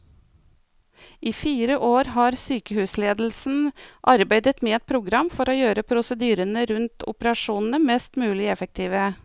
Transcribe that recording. I fire år har sykehusledelsen arbeidet med et program for å gjøre prosedyrene rundt operasjonene mest mulig effektive.